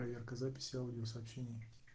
проверка записи аудио сообщений